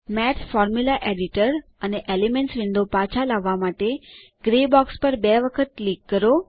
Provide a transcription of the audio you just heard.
માથ formula editor અને elements window પાછા લાવવા માટે ગ્રે બોક્સ પર બે વખત ક્લિક કરો